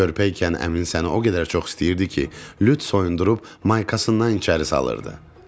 Körpəykən əmin səni o qədər çox istəyirdi ki, lüt soyundurub maykasından içəri salırdı.